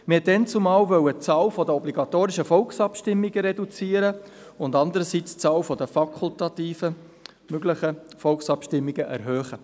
Damals wollte man einerseits die Zahl der obligatorischen Volksabstimmungen reduzieren und andererseits die Zahl der fakultativ möglichen Volksabstimmungen erhöhen.